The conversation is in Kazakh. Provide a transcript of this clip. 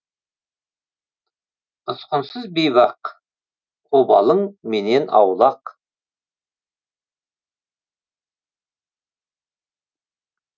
ұсқынсыз бейбақ обалың менен аулақ